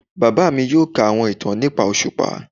Bàbá mí yóò kà àwọn ìtàn nìpa oṣupá